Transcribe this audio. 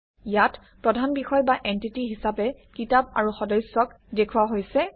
ইয়াত প্ৰধান বিষয় বা এনটিটি হিচাপে কিতাপ আৰু সদস্যক দেখুওৱা হৈছে